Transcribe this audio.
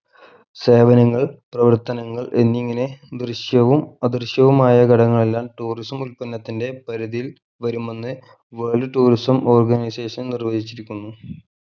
സേവനങ്ങൾ പ്രവർത്തനങ്ങൾ എന്നിങ്ങനെ ദൃശ്യവും അദൃശ്യവുമായ ഘടകങ്ങളെല്ലാം tourism ഉത്പന്നത്തിൻ്റെ പരിധിയിൽ വരുമെന്ന് world tourism organisation നിർവചിച്ചിരിക്കുന്നു